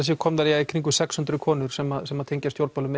séu komnar í kringum sex hundruð konur sem sem tengjast stjórnmálum